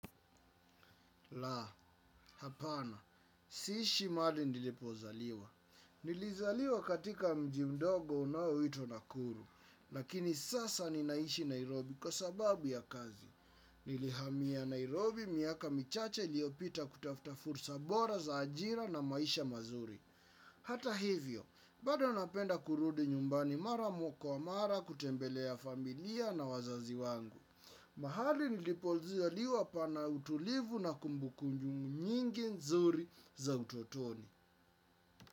Laa, hapana. Siishi mahali nilipozaliwa. Nilizaliwa katika mji mdogo unaoitwa nakuru. Lakini sasa ninaishi Nairobi kwa sababu ya kazi. Nilihamia Nairobi miaka michache iliopita kutafuta fursa bora za ajira na maisha mazuri. Hata hivyo, bado napenda kurudi nyumbani mara kwa mara kutembelea familia na wazazi wangu. Mahali nilipozaliwa pana utulivu na kumbukumbu nyingi nzuri za utotoni.